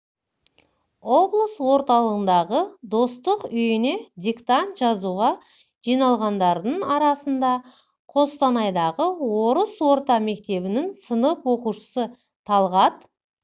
облыс орталығындағы достық үйіне диктант жазуға жиналғандардың арасында қостанайдағы орыс орта мектебінің сынып оқушысы талғат